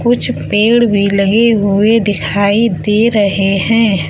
कुछ पेड़ भी लगे हुए दिखाई दे रहे हैं।